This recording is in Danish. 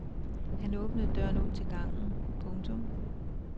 Han åbnede døren ud til gangen. punktum